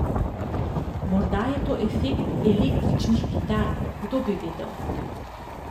Morda je to efekt električnih kitar, kdo bi vedel.